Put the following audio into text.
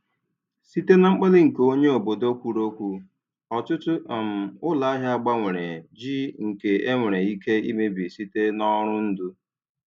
Site na mkpali nke onye obodo kwuru okwu, ọtụtụ um ụlọahịa gbanwere jiw nke e nwere ike imebi site n'ọrụ ndụ.